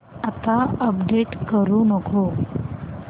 आता अपडेट करू नको